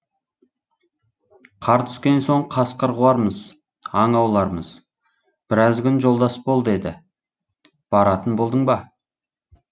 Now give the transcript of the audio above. қар түскен соң қасқыр қуармыз аң аулармыз біраз күн жолдас бол деді баратын болдың ба